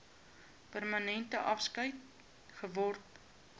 permanente afskeid geword